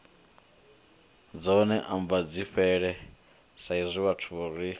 dzone ambadzifhele saizwi vhathu ri